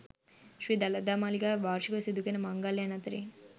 ශ්‍රී දළදා මාලිගාවේ වාර්ෂිකව සිදුකෙරෙන මංගල්‍යයන් අතරින්